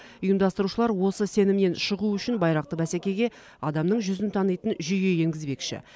ұйымдастырушылар осы сенімнен шығу үшін байрақты бәсекеге адамның жүзін танитын жүйе енгізбекші